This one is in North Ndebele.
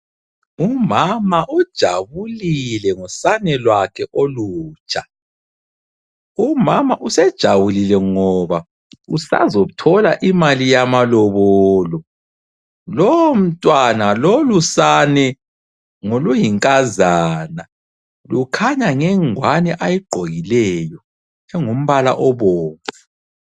Umama ujabulile ngosane lwakhe olutsha. Umama usejabulile ngoba usazothola imali yamalobolo, lomntwana, lolusane ngoluyinkazana lukhanya ngengwani ayigqokileyo engumbala obomvu.